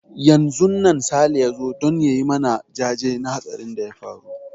Yanzun nan Sale ya zo don ya yi mana jaje na hatsarin da ya faru.